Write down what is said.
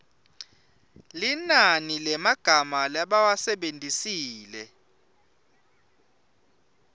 linani lemagama labawasebentisile